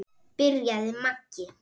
byrjaði Maggi.